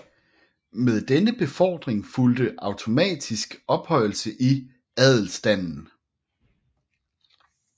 Med denne befordring fulgte automatisk ophøjelse i adelstanden